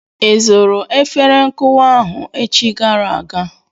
I zụrụ efere nkụwa ahụ echi gara aga?